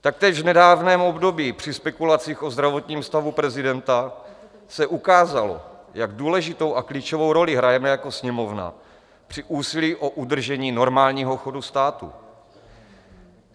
Taktéž v nedávném období při spekulacích o zdravotním stavu prezidenta se ukázalo, jak důležitou a klíčovou roli hrajeme jako Sněmovna při úsilí o udržení normálního chodu státu.